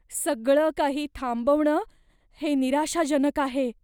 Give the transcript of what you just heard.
सगळं काही थांबवणं हे निराशाजनक आहे.